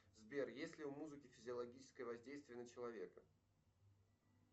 сбер есть ли у музыки физиологическое воздействие на человека